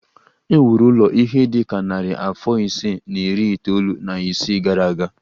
E wuru ụlọ a ihe dị ka narị afọ ise na iri itoolu na isii gara aga